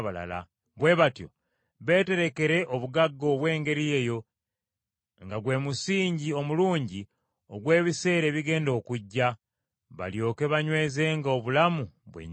Bwe batyo beeterekere obugagga obw’engeri eyo nga gwe musingi omulungi ogw’ebiseera ebigenda okujja, balyoke banywezenga obulamu bwennyini.